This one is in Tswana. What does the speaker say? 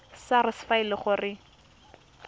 sars fa e le gore